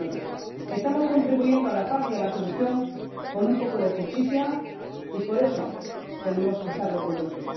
2009. Estamos contribuyendo a la paz y a la solución con un poco de justicia y por eso tenemos que estar orgullosos.